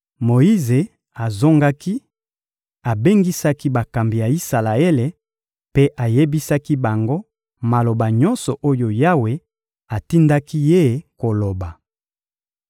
Moyize azongaki, abengisaki bakambi ya Isalaele mpe ayebisaki bango maloba nyonso oyo Yawe atindaki ye koloba.